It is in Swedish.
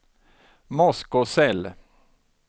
Moskosel